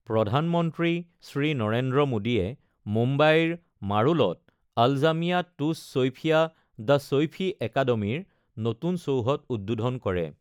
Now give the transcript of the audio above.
প্ৰধানমন্ত্ৰী শ্ৰী নৰেন্দ্ৰ মোদীয়ে মুম্বাইৰ মাৰোলত আলজামিয়া টুছ ছৈফিয়া দ্য ছৈফী একাডেমী ৰ নতুন চৌহদ উদ্বোধন কৰে।